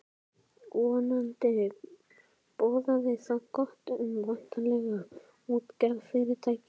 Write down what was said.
Vonandi boðaði það gott um væntanlegt útgerðarfyrirtæki.